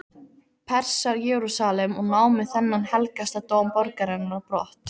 Persar Jerúsalem og námu þennan helgasta dóm borgarinnar á brott.